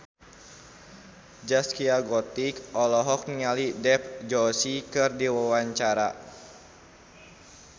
Zaskia Gotik olohok ningali Dev Joshi keur diwawancara